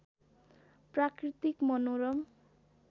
प्राकृतिक मनोरम